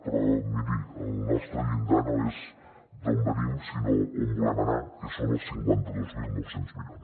però miri el nostre llindar no és d’on venim sinó on volem anar que són els cinquanta dos mil nou cents milions